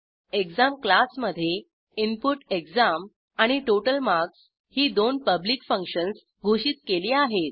exam क्लासमधे input exam आणि total marks ही दोन पब्लिक फंक्शन्स घोषित केली आहेत